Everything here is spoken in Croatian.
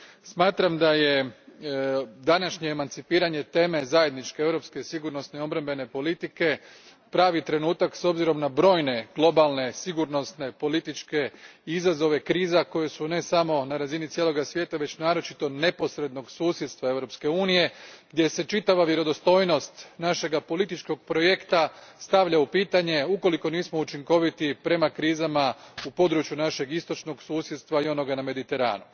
Smatram da je današanje emancipiranje teme Zajedničke europske sigurnosne i obrambene politike pravi trenutak s obzirom na brojne globalne, sigurnosne i političke izazove kriza koje su ne samo na razini cijeloga svijeta već naročito neposrednog susjedstva Europske unije gdje se čitava vjerodostojnost našeg političkog projekta stavlja u pitanje ukoliko nismo učinkoviti prema krizama u području našeg istočnog susjedstva i onoga na Mediteranu.